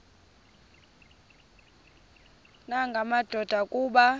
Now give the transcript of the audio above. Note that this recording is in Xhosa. nanga madoda kuba